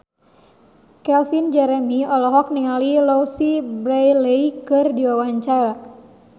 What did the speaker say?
Calvin Jeremy olohok ningali Louise Brealey keur diwawancara